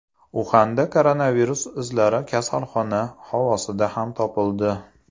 Uxanda koronavirus izlari kasalxona havosida ham topildi.